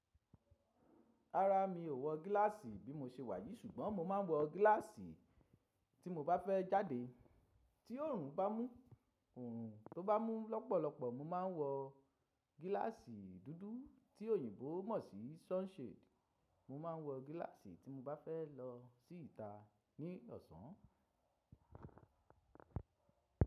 Rárá, mi ò wọ gíláàsì bí mo se wà yìí ṣùgbọ́n mo máa ń wọ gíláàsì tí mo bá fẹ́ jáde. Tí oòrùn bá mú, oòrùn tó bá mú lọ́pọ̀lọpọ̀ mo ma ń wọ gíláàsì dúdú tí òyìnbó mọ̀ sí sunshade. Mo ma ń wọ gíláàsì tí mo bá fẹ́ lọ sí ìta ní ọ̀sán.